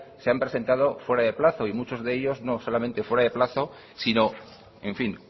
se han presentado fuera de plazo y muchos de ellos no solamente fuera de plazo si no en fin